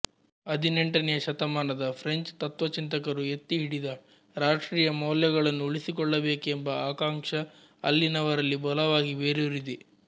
ಹದಿನೆಂಟನೆಯ ಶತಮಾನದ ಫ್ರೆಂಚ್ ತತ್ತ್ವಚಿಂತಕರು ಎತ್ತಿ ಹಿಡಿದ ರಾಷ್ಟ್ರೀಯ ಮೌಲ್ಯಗಳನ್ನು ಉಳಿಸಿಕೊಳ್ಳಬೇಕೆಂಬ ಆಕಾಂಕ್ಷ ಅಲ್ಲಿನವರಲ್ಲಿ ಬಲವಾಗಿ ಬೇರೂರಿದೆ